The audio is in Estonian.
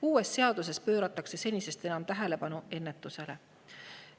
Uues seaduses pööratakse senisest enam tähelepanu ennetusele.